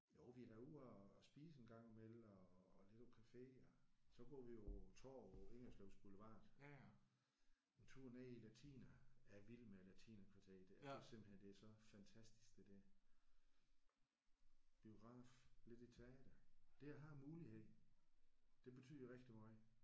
Jo vi er da ude at spise en gang i mellem og og lidt på café. Og så går vi på tovet Ingerslevs Boulevard. En tur ned i latiner jeg er vild med latinerkvarteret det er simpelthen så fantastisk det der. Biograf lidt i teatret. Det at have muligheden det betyder rigtig meget